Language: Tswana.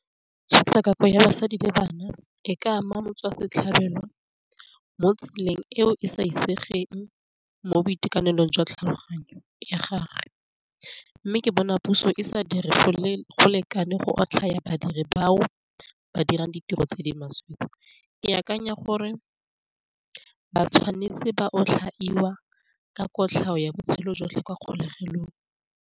Tshotlakako ya basadi le bana e ka ama motswasetlhabelo mo tseleng eo e sa itsegeng mo boitekanelong jwa tlhaloganyo ya gage, mme ke bona puso e sa dire go lekane go otlhaya badiri bao ba dirang ditiro tse di maswe tse, ke akanya gore ba tshwanetse ba otlhaiwa ka kotlhao ya botshelo jotlhe kwa kgolegelong.